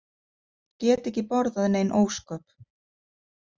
Get ekki borðað nein ósköp.